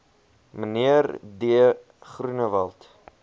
mnr d groenewald